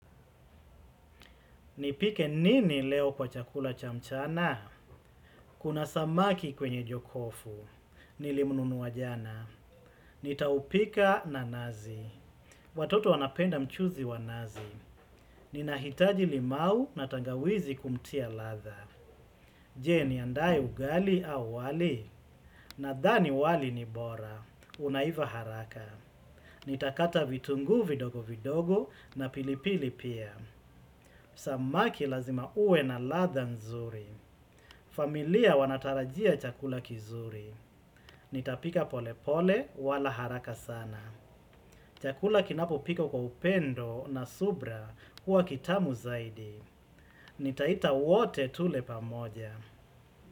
Nipike nini leo kwa chakula cha mchana? Kuna samaki kwenye jokofu. Nilimununuwa jana. Nitaupika na nazi. Watoto wanapenda mchuzi wa nazi. Nina hitaji limau na tangawizi kumtia latha. Je, niandae ugali au wali? Nadhani wali ni bora. Unaiva haraka. Nitakata vitungu vidogo vidogo na pilipili pia. Samaki lazima ue na latha nzuri. Familia wanatarajia chakula kizuri. Nitapika pole pole wala haraka sana. Chakula kinapo pikwa kwa upendo na subra huwa kitamu zaidi. Nitaita wote tule pamoja.